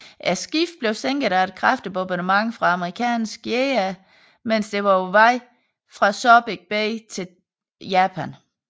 Skibet blev sænket af et kraftig bombardement fra amerikanske jagere mens det var på vej fra Subic Bay til Japan